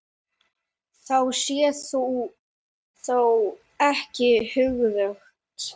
Það sé þó ekki öruggt.